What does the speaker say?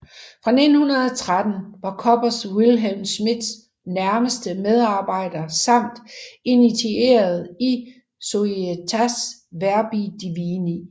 Fra 1913 var Koppers Wilhelm Schmidts nærmeste medarbejder samt initieret i Societas Verbi Divini